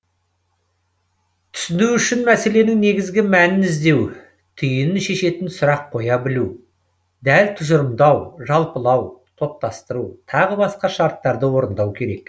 түсіну үшін мәселенің негізгі мәнін іздеу түйінін шешетін сұрақ қоя білу дәл тұжырымдау жалпылау топтастыру тағы басқа шарттарды орындау керек